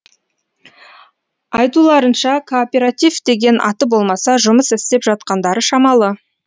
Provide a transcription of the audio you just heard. айтуларынша кооператив деген аты болмаса жұмыс істеп жатқандары шамалы